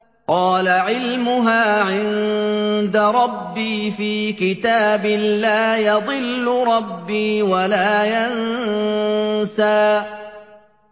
قَالَ عِلْمُهَا عِندَ رَبِّي فِي كِتَابٍ ۖ لَّا يَضِلُّ رَبِّي وَلَا يَنسَى